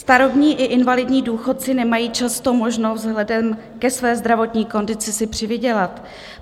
Starobní i invalidní důchodci nemají často možnost vzhledem ke své zdravotní kondici si přivydělat.